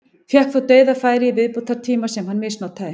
Fékk þó dauðafæri í viðbótartíma sem hann misnotaði.